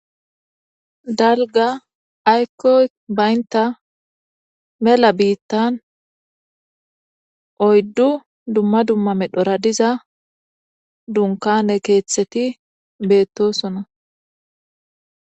Dalga aykoy baynta mela biittan oyddu dumma dumma medhora diza dunkane keeththeti beettosona.